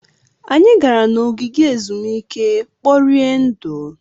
Anyị gara na n'ogige ezumike kporie ndụ.